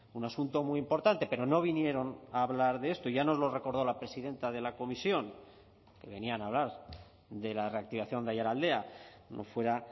un asunto muy importante pero no vinieron a hablar de esto ya nos lo recordó la presidenta de la comisión que venían a hablar de la reactivación de aiaraldea no fuera